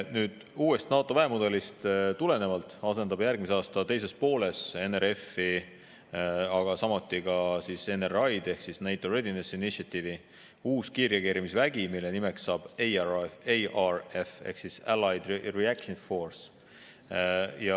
NATO uuest väemudelist tulenevalt asendub järgmise aasta teisest poolest NRF, aga samuti NRI ehk NATO Readiness Initiative'i uue kiirreageerimisväega, mille nimeks saab ARF ehk Allied Reaction Force.